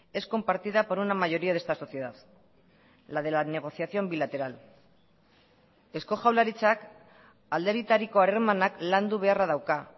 es compartida por una mayoría de esta sociedad la de la negociación bilateral eusko jaurlaritzak alde bitariko harremanak landu beharra dauka